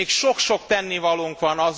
Még sok sok tennivalónk van.